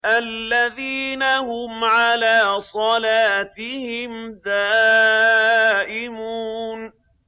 الَّذِينَ هُمْ عَلَىٰ صَلَاتِهِمْ دَائِمُونَ